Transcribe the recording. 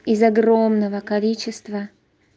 из огромного количества